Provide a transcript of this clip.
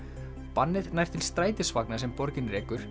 bannið nær til strætisvagna sem borgin rekur